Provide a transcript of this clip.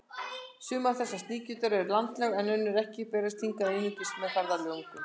Sum þessara sníkjudýra eru landlæg en önnur ekki og berast hingað einungis með ferðalöngum.